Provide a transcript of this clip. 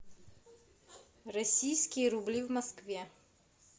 российские рубли в москве